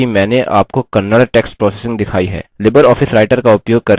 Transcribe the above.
कृपया ध्यान दें कि मैंने आपको kannada text processing दिखाई है